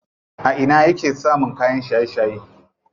A ina yake samun kayan shaye shaye?